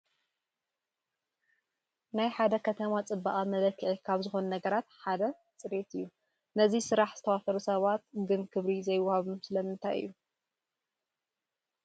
ናይ ሓደ ከተማ ፅባቐ መለክዒ ካብ ዝኾኑ ነገራት ሓደ ፅሬት እዩ፡፡ ነዚ ስራሕ ዝተዋፈሩ ሰባት ግን ክብሪ ዘይወሃቦም ስለምንታይ እዩ?